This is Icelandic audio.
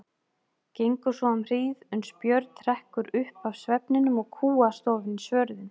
Gengur svo um hríð, uns Björn hrekkur upp af svefninum og kúgast ofan í svörðinn.